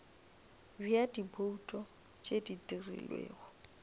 bja dibouto tše di dirilwego